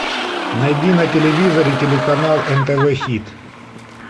найди на телевизоре телеканал нтв хит